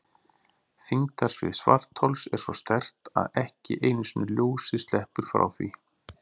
Þyngdarsvið svarthols er svo sterkt að ekki einu sinni ljósið sleppur frá því.